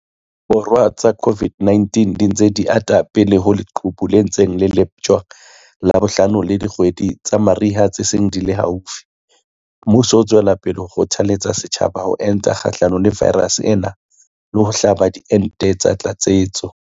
Borwa tsa COVID-19 di ntse di ata pele ho leqhubu le ntseng le leptjwa la bohlano le dikgwedi tsa mariha tse seng di le haufi, mmuso o tswela pele ho kgothaletsa setjhaba ho enta kgahlano le vaerase ena le ho hlaba diente tsa tlatsetso.